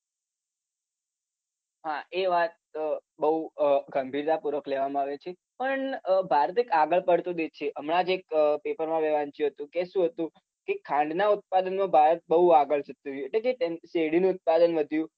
હા એ વાત અમ બોઉં અમ ગંભીરતાપૂર્વક લેવામાં આવે છે પણ અમ ભારત એક આગળ પડતો દેશ છે હમણાં જ એક paper માં મેં વાંચ્યું હતું કે શું હતું કે ખાંડના ઉત્પાદનમાં ભારત બોઉં આગળ જતું રહ્યું એટલે કે શેરડીનું ઉત્પાદન વધ્યું